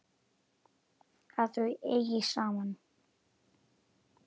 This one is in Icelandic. Að þau eigi saman.